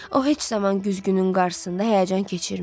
O heç zaman güzgünün qarsısında həyəcan keçirmirdi.